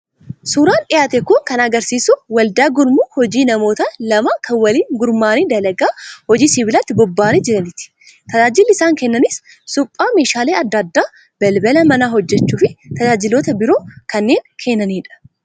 Suuraan dhiyaate kun kan argisiisu waldaa gurmuu hojii namoota lamaa kan waliin gurmaa'anii dalagaa hojii sibiilaatti bobba'anii jiraniiti. Tajaajilli isaan kennanis suphaa meeshaalee adda addaa, balbala manaa hojjechuu fi tajaajiloota biroo kanneen kennanidha.